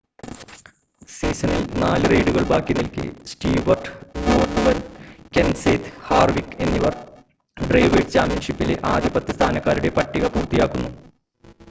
സീസണിൽ 4 റെയ്‌സുകൾ ബാക്കി നിൽക്കെ സ്റ്റീവർട്ട് ഗോർഡൻ കെൻസേത്ത് ഹാർവിക് എന്നിവർ ഡ്രൈവേഴ്‌സ് ചാമ്പ്യൻഷിപ്പിലെ ആദ്യ പത്ത് സ്ഥാനക്കാരുടെ പട്ടിക പൂർത്തിയാക്കുന്നു